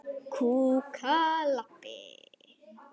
Við hér fjögur?